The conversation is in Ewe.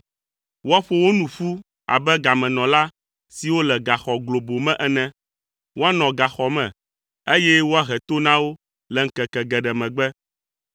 Woaƒo wo nu ƒu abe gamenɔla siwo le gaxɔ globo me ene. Woanɔ gaxɔ me, eye woahe to na wo le ŋkeke geɖe megbe.